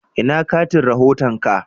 Ina katin rahoton ka?